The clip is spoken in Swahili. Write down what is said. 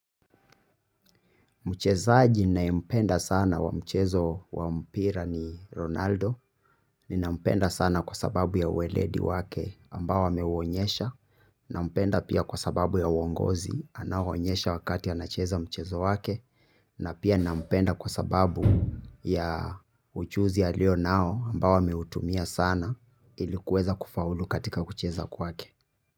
Mchezaji nayempenda sana wa mchezo wa mpira ni Ronaldo, ninampenda sana kwa sababu ya weledi wake ambao ameuonyesha, nampenda pia kwa sababu ya uongozi anawoonyesha wakati anacheza mchezo wake, na pia nampenda kwa sababu ya ujuzi alio nao ambao ameutumia sana ilikuweza kufaulu katika kucheza kwake.